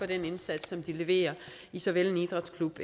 den indsats som de leverer i såvel en idrætsklub